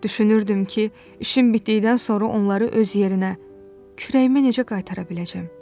Düşünürdüm ki, işim bitdikdən sonra onları öz yerinə, kürəyimə necə qaytara biləcəm.